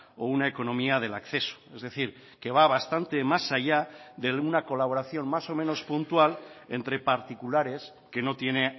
o una economía del acceso es decir que va bastante más allá de una colaboración más o menos puntual entre particulares que no tiene